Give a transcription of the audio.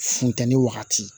Funtenin wagati